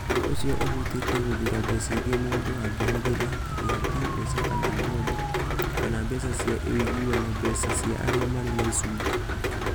Ũndũ ũcio ũhutĩtie gũthuura mbeca iria mũndũ angĩhũthĩra, ta ihaki (mbeca kana bondi) kana mbeca cia ũiguano (mbeca cia arĩa marĩ na icunjĩ).